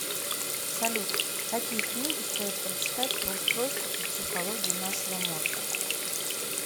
салют какие книги стоит прочитать про устройство и психологию нашего мозга